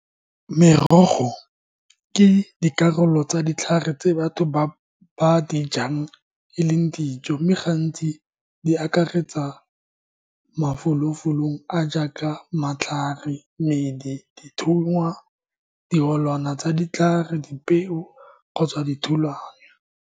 Merogo ke dikarolo tsa ditlhare tse batho ba ba dijang e leng dijo mme gantsi di akaretsa mafolofolong a jaaka matlhare, medi, dithungwa tsa ditlhare, dipeo kgotsa dithulano.